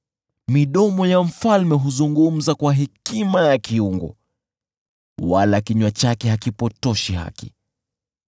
Midomo ya mfalme huzungumza kwa hekima ya kiungu, wala kinywa chake hakipotoshi haki.